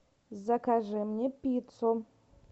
закажи мне пиццу